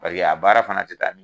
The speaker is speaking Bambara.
Paseke a baara fana te taa